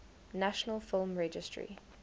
national film registry